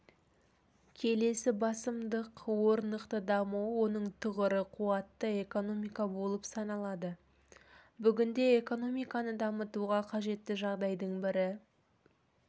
келесі басымдық орнықты даму оның тұғыры қуатты экономика болып саналады бүгінде экономиканы дамытуға қажетті жағдайдың бірі